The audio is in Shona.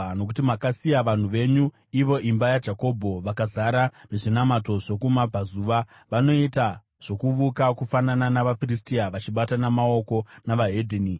Nokuti makasiya vanhu venyu, ivo imba yaJakobho. Vakazara nezvinamato zvokuMabvazuva; vanoita zvokuvuka kufanana navaFiristia, vachibatana maoko nevedzimwe ndudzi.